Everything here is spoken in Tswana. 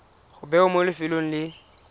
go bewa mo lefelong le